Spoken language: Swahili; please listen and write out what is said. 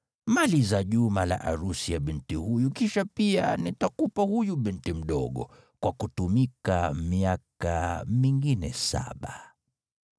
Maliza juma la arusi ya binti huyu, kisha pia nitakupa huyu binti mdogo, kwa kutumika miaka mingine saba.”